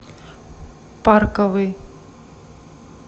парковый